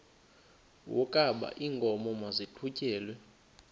wokaba iinkomo maziqhutyelwe